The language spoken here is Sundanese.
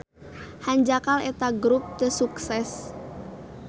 Hanjakal eta grup teu sukses.